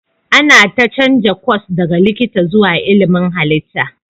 Amina ta canza kwas daga likita zuwa ilmin halitta.